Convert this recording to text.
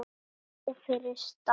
Hafðu nóg fyrir stafni.